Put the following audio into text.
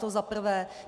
To za prvé.